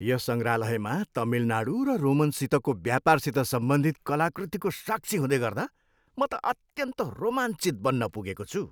यस सङ्ग्रहालयमा तमिलनाडू र रोमनसितको व्यापारसित सम्बन्धित कलाकृतिको साक्षी हुँदैगर्दा म त अत्यन्त रोमाञ्चित बन्न पुगेको छु।